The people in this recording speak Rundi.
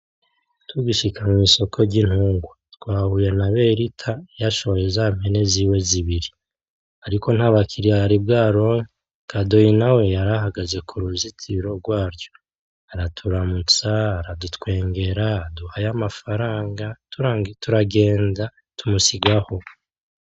Tugishika mw'isoko ry'ibitungwa twahuye na berita yashoye zampene ziwe zibiri ariko ntabakiriya yari bwaronke kadoyi nawe yari ahagaze kuruzitiro gwaryo araturamutsa aradutwengera aduha y'amafaranga turagenda tumusigaho.